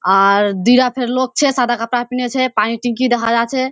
आर दीरा फेर लोक छे सादा कपड़ा पिने छे पानी टिन्की देखा जा छे।